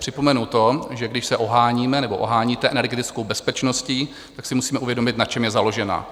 Připomenu to, že když se oháníme nebo oháníte energetickou bezpečností, tak si musíme uvědomit, na čem je založená.